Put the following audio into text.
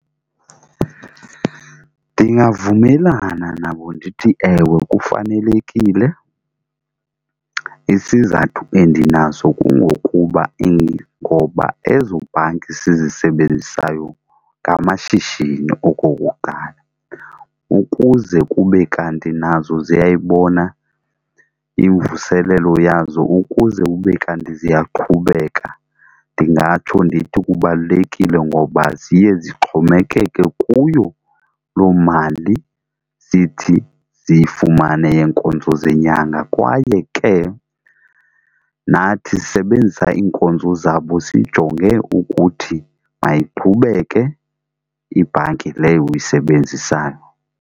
Ndingavumelana nabo ndithi ewe kufanelekile. Isizathu endinaso kungokuba ngoba ezo bhanki sizisebenzisayo ngamashishini okokuqala. Ukuze kube kanti nazo ziyayibona imvuselelo yazo ukuze ube kanti ziya qhubeka ndingatsho ndithi kubalulekile ngoba ziye zixhomekeke kuyo loo mali zithi ziyifumane yeenkonzo zenyanga. Kwaye ke nathi sisebenzisa iinkonzo zabo sijonge ukuthi mayiqhubeke ibhanki leyo uyisebenzisayo.